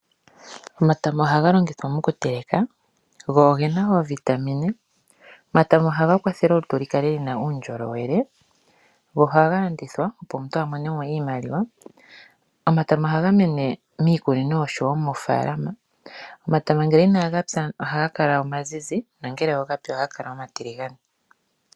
Omatama ohaga longithwa mokuteleka go oge na ovitamine. Omatama ohaga kwathele olutu lu kale luna uundjolowele. Go ohaga landithwa opo omuntu a mone mo iimaliwa. Omatama ohaga mene miikunino oshowo moofalama. Omatama ngele inaga pya ohaga kala omazizi, na ngele ogapya ohaga kala omatiligane.